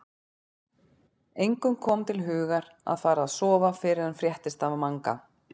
Engum kom til hugar að fara að sofa fyrr en fréttist af Manga.